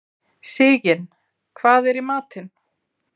Sigyn, hvað er í matinn?